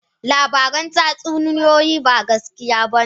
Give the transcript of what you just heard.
labaran tatsuniyoyi ba gaskiya ba ne